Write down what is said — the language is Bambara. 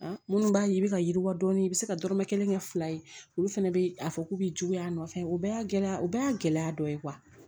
Minnu b'a ye i bɛ ka yiriwa dɔɔni i bɛ se ka dɔrɔmɛ kelen kɛ fila ye olu fana bɛ a fɔ k'u bɛ juguya a nɔfɛ o bɛɛ y'a gɛlɛya o bɛɛ y'a gɛlɛya dɔ ye